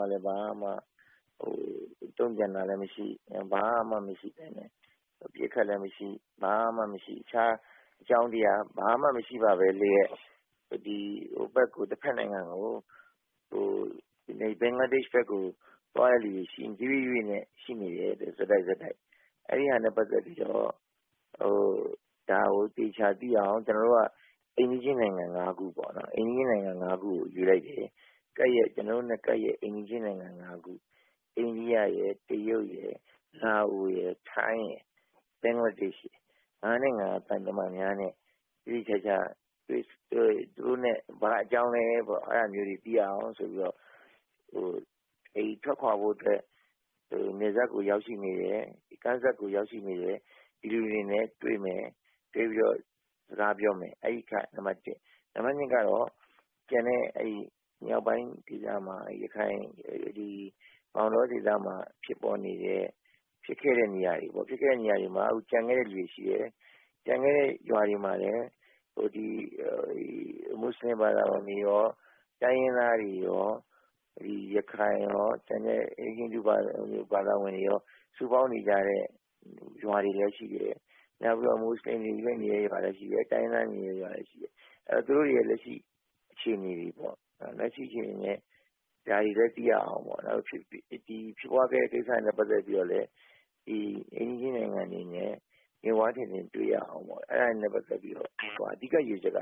ကလည်း ဘာမှ တုံ့ပြန်တာမရှိ အပစ်အခတ်လည်းမရှိ ဘာမှမရှိ၊ တခြားအကြောင်းတရားဘာမှ မရှိပါဘဲလျှက်၊ တဖက်နိုင်ငံကို ဘင်္ဂလားဒေ့ရှ်ဘက်ကို သွားတဲ့လူတွေ တရွေ့ရွေ့နဲ့ ရှိနေတယ်၊ ဆက်တိုက်ဆက်တိုက်။ အဲဒီဟာနဲ့ ပတ်သက်ပြီးတော့ ဒါကိုသေချာသိရအောင် အိမ်နီးချင်းနိုင်ငံ ၅ ခု ကိုရွေးလိုက်တယ်။ ကျနော်တို့နဲ့ ကပ်လျှက်အိမ်နည်းချင်းနိုင်ငံ ၅ခု အိန္ဒိယနိုင်ငံရယ်၊ တရုတ်ရယ်၊ လာအိုရယ်၊ ထိုင်းရယ်၊ ဘင်္ဂလားဒေ့ရှ်ရယ်၊ ၅ နိုင်ငံ သံတမန်များနဲ့ သေသေချာချာ သူတို့နဲ့ ဘာအကြောင်းလည်းဆိုတာ သိရအောင် သူတို့နဲ့ ထွက်ခွာဖို့အတွက် နယ်စပ်ကိုရောက်ရှိနေတဲ့ ကမ်းစပ်ကိုရောက်ရှိနေတဲ့ လူတွေနဲ့ တွေ့မယ်၊ တွေ့ပြီးတော့ စကားပြောမယ် အဲဒီအချက်က နံပတ် ၊ နံပတ် ကတော့ ကျန်တဲ့ မြောက်ပိုင်း ကိစ္စမှာ ရခိုင်ပြည် မောင်းတောဒေသမှာ ဖြစ်ပွားနေတဲ့ ဖြစ်ခဲ့တဲ့ နေရာတွေ၊ ဖြစ်ခဲ့တဲ့ နေရာတွေမှာ ကျန်ခဲ့တဲ့ လူတွေရှိတယ်၊ ကျန်ခဲ့တဲ့ရွာတွေမှာလည်း မွတ်ဆလင်ဘာသာဝင်တွေရော၊ တိုင်းရင်းသားတွေရော၊ ရခိုင်ရော၊ ကျန်တဲ့ ဟိန္ဒူ ဘာသာဝင်တွေရော၊ စုပေါင်းနေကြတဲ့ ရွာတွေလည်းရှိတယ်၊ နောက်ပြီးတော့ မွတ်ဆလင်တွေနေတဲ့ရွာလည်းရှိတယ်၊ တိုင်းရင်းသားတွေ နေတဲ့နေရာတွေ လည်းရှိတယ်။ သူတို့တွေရဲ့လက်ရှိ အခြေနေတွေနဲ့ ဒါတွေလည်းသိရအောင် ဖြစ်ပွားခဲ့တဲ့ ကိစ္စ တွေနဲ့ ပတ်သက်ပြီးတော့လည်း အိမ်နည်းချင်းနိုင်ငံတွေအနေနဲ့ မျက်ဝါးထင်ထင် တွေ့ရအောင် အဲဒါတွေနဲ့ ပတ်သက်ပြီးတော့ အဓိက ရည်ရွယ်ချက်က